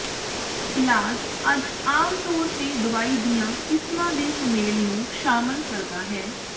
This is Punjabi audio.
ਇਲਾਜ ਅੱਜ ਆਮ ਤੌਰ ਤੇ ਦਵਾਈ ਦੀਆਂ ਕਿਸਮਾਂ ਦੇ ਸੁਮੇਲ ਨੂੰ ਸ਼ਾਮਲ ਕਰਦਾ ਹੈ